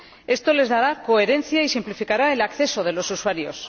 Esto les dará coherencia y simplificará el acceso de los usuarios.